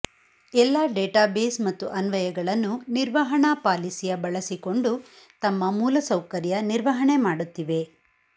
ಎಲ್ಲಾ ಡೇಟಾಬೇಸ್ ಮತ್ತು ಅನ್ವಯಗಳನ್ನು ನಿರ್ವಹಣಾ ಪಾಲಿಸಿಯ ಬಳಸಿಕೊಂಡು ತಮ್ಮ ಮೂಲಸೌಕರ್ಯ ನಿರ್ವಹಣೆ ಮಾಡುತ್ತಿವೆ